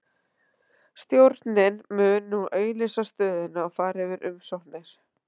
Stjórnin mun nú auglýsa stöðuna og fara yfir umsóknir.